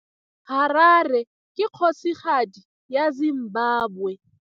Harare ke kgosigadi ya Zimbabwe.